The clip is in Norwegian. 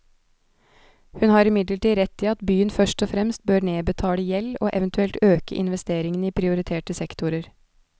Hun har imidlertid rett i at byen først og fremst bør nedbetale gjeld og eventuelt øke investeringene i prioriterte sektorer.